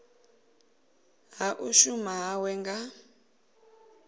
ha u shuma hawe nga